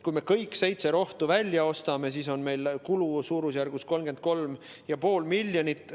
Kui me kõik seitse rohtu välja ostame, siis on meie kulu suurusjärgus 33,5 miljonit.